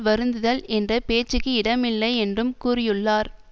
வருந்துதல் என்ற பேச்சுக்கு இடமில்லை என்றும் கூறியுள்ளார்